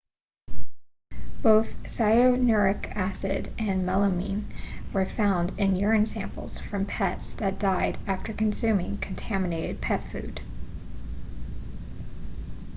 both cyanuric acid and melamine were found in urine samples from pets that died after consuming contaminated pet food